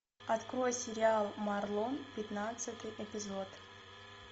открой сериал марлон пятнадцатый эпизод